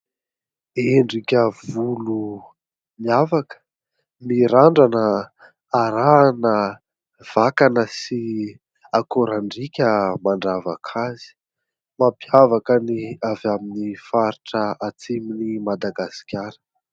Endrika volo miavaka, mirandrana, arahana vakana sy akorandriaka mandravaka azy. Mampiavaka ny avy amin'ny faritra atsimon'i Madagasikara.